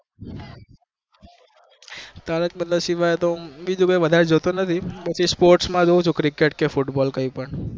તારક મહેતા સિવાય તો હું બીજું કય જોતો નથી હું જાજુ